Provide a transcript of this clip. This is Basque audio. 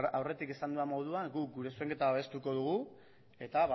aurretik esan dudan moduan guk gure zuzenketa babestuko dugu eta